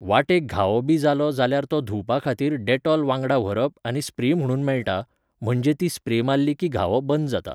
वाटेक घावो बी जालो जाल्यार तो धुंवपा खातीर डॅटोल वांगडा व्हरप आनी स्प्रे म्हणून मेळटा, म्हणजे ती स्प्रे मारली की घावो बंद जाता